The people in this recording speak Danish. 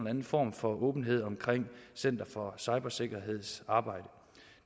anden form for åbenhed om center for cybersikkerheds arbejde